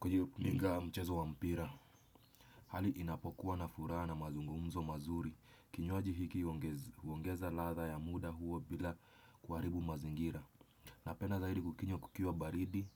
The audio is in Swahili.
kujiunga mchezo wa mpira. Hali inapokuwa na furaha na mazungumzo mazuri kinywaji hiki uongeza latha ya muda huo bila kuharibu mazingira. Napenda zaidi kukinywa kukiwa baridi.